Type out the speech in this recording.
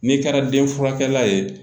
N'i kɛra den furakɛla ye